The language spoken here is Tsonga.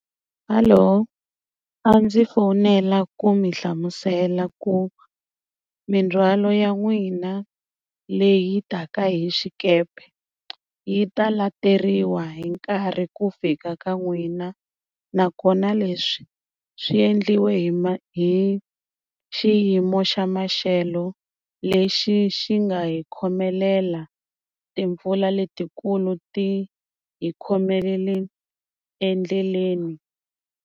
Hello a ndzi fonela ku mi hlamusela ku mindzwalo ya n'wina leyi taka hi xikepe yi ta lateriwa hi nkarhi ku fika ka n'wina nakona leswi swi endliwa hi ma hi xiyimo xa maxelo lexi xi nga hi khomelela timpfula letikulu ti hi khomelele endleleni.